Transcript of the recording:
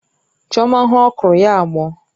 Chioma hụ okro, ya agbọ̀ọ